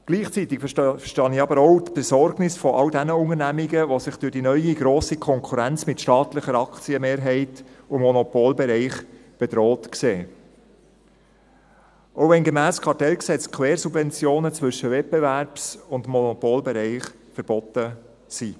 Gleichzeitig verstehe ich aber auch die Besorgnis all jener Unternehmungen, die sich durch die neue grosse Konkurrenz mit staatlicher Aktienmehrheit und Monopolbereich bedroht sehen, auch wenn gemäss dem Bundesgesetz über Kartelle und andere Wettbewerbsbeschränkungen (Kartellgesetz, KG) Quersubventionen zwischen Wettbewerbs- und Monopolbereich verboten sind.